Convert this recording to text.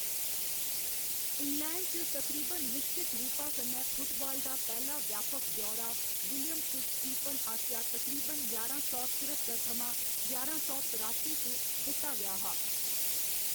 England च तकरीबन निश्चत रूपा कन्नै फुटबाल दा पैह्‌‌ला व्यापक ब्यौरा विलियम फिट्ज स्टीफन आसेआ तकरीबन ञारां सौ चरत्तर थमां ञारां सौ तरासी च दित्ता गेआ हा।